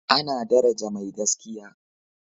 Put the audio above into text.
ana daraja mai gaskiya